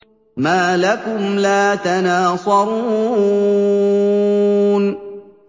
مَا لَكُمْ لَا تَنَاصَرُونَ